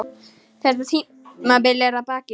Þetta tímabil er að baki.